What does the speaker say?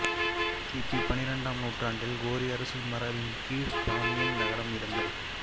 கிபி பனிரெண்டாம் நூற்றாண்டில் கோரி அரச மரபின் கீழ் பாமியான் நகரம் இருந்தது